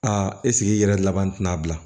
Aa eseke i yɛrɛ laban tina bila